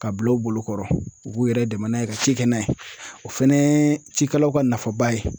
Ka bila u bolokɔrɔ u b'u yɛrɛ dɛmɛn n'a ye ka ci kɛ n'a ye o fɛnɛ ye cikɛlaw ka nafaba ye.